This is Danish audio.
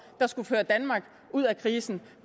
der skulle føre danmark ud af krisen